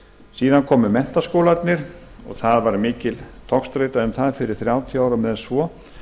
síðan komu menntaskólarnir og mikil togstreita var um það fyrir þrjátíu árum eða svo